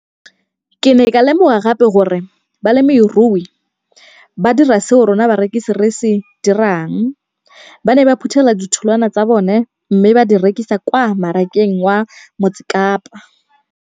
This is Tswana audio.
Ke ne ka lemoga gape gore balemirui ba dira seo rona barekisi re se dirang - ba ne ba phuthela ditholwana tsa bona mme ba di rekisa kwa marakeng wa Motsekapa.